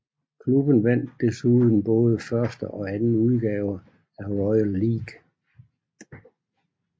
Klubben vandt desuden både første og anden udgave af Royal League